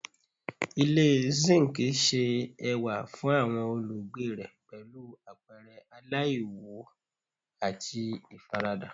Ile zinc ṣe ẹwa fun awọn olugbe rẹ pẹlu apẹrẹ alaiwu ati ifarada